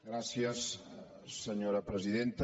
gràcies senyora presidenta